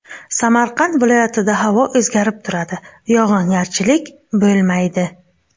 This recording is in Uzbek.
Samarqand viloyatida havo o‘zgarib turadi, yog‘ingarchilik bo‘lmaydi.